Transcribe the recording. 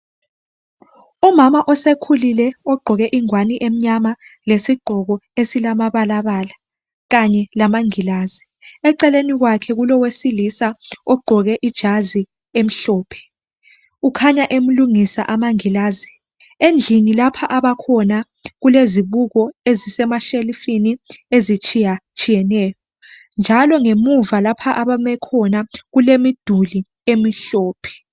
Umama osekhulile ogqoke ingwane emnyama lesigqoko esilamabalabala kanye lamangilazi. Eceleni kwakhe kulowesilisa ogqoke ijazi emhlophe kukhanya emlungisa amangilazi. Endlini lapha abakhona kulezibuko ezisemashelifini ezitshiyatshiyeneyo njalo ngemuva lapha abame khona kulemiduli emhlophe.